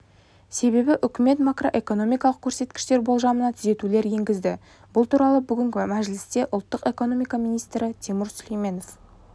себебі үкімет макроэкономикалық көрсеткіштер болжамына түзетулер енгізді бұл туралы бүгін мәжілісте ұлттық экономика министрі тимур сүлейменов